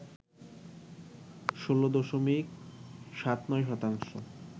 ১৬ দশমিক ৭৯ শতাংশ